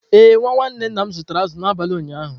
Ee, nwa nwanne nna m zụtara azụ̀ n’abalị ụnyaahụ.